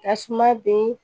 Tasuma ben